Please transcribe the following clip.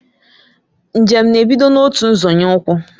Njem na ebido n'otu nzọnye ukwu